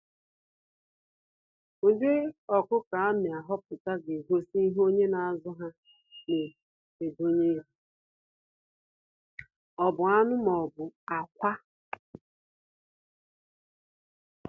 Ụdị ọkụkọ a na ahọpụta ga egosi ihe onye na azụ ha na enedo anya, ọ bu anụ maọbu akwa.